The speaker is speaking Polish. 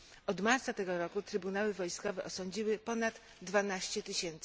Od marca tego roku trybunały wojskowe osądziły ponad 12 tys.